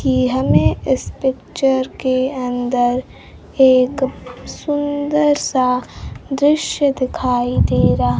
कि हमें इस पिक्चर के अंदर एक सुंदर सा दृश्य दिखाई दे रहा--